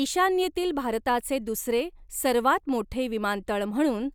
ईशान्येतील भारताचे दुसरे सर्वात मोठे विमानतळ म्हणून,